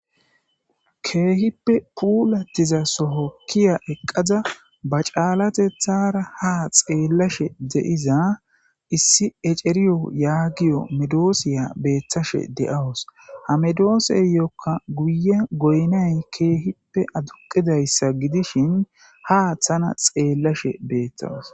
ke'hippe puulattiza sooho kiya eqqada ba caalateththara ha xeellashshe de'iza issi eceriiyo yaagiyo medoosiya betashshe de'awus ha medooseyokka guye goynayn ke'hippe aduqidayssa gidishin ha taana xeellashshe bettawus